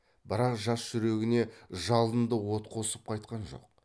бірақ жас жүрегіне жалынды от қосып қайтқан жоқ